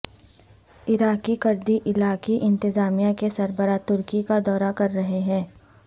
عراقی کردی علاقائی انتظامیہ کے سربراہ ترکی کا دورہ کر رہے ہیں